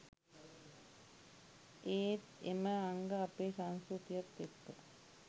ඒත් එම අංග අපේ සංස්කෘතියත් එක්ක